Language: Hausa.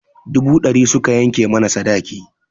Dubu ɗari suka yanke mana sadaki.